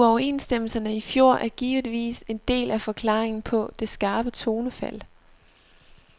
Uoverenstemmelserne i fjor er givetvis en del af forklaringen på det skarpe tonefald.